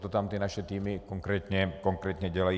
To tam ty naše týmy konkrétně dělají.